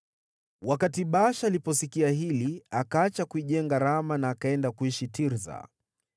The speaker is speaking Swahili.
Wakati Baasha aliposikia hili, akaacha kuijenga Rama na akaenda kuishi Tirsa.